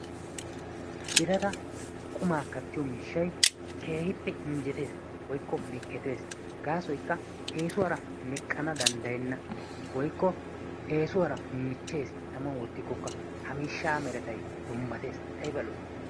Birata qummaa kattiyoo miishshay keehippe injjetees woykko miikketees. Gasoykka eesuwaara meqqana dandayenna woykko eesuwaara michchees taman woottikoka ha miishshaa meretay dummatees ayba lo"ii!